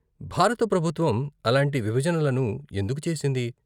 భారత ప్రభుత్వం అలాంటి విభజనలను ఎందుకు చేసింది?